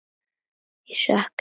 Ég sakna hans.